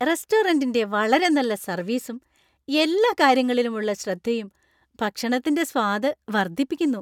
റെസ്റ്റോറന്‍റിന്‍റെ വളരെ നല്ല സർവീസും ,എല്ലാ കാര്യങ്ങളിലുമുള്ള ശ്രദ്ധയും ഭക്ഷണത്തിന്‍റെ സ്വാദ് വർദ്ധിപ്പിക്കുന്നു.